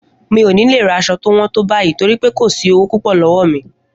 Mi ò ní lè ra aṣọ tó wọ́n tó báyìí torí pé kò sí owó púpọ̀ lọ́wọ́ mi